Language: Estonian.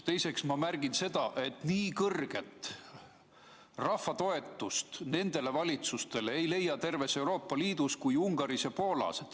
Teiseks märgin seda, et nii kõrget rahva toetust valitsustele ei leia terves Euroopa Liidus kui Ungaris ja Poolas.